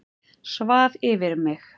Svaf yfir mig